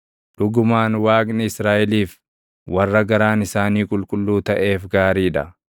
Dhugumaan Waaqni Israaʼeliif, warra garaan isaanii qulqulluu taʼeef gaarii dha.